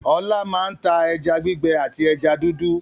Ọlá máa ń ta ẹja gbígbẹ àti ẹja dúdú.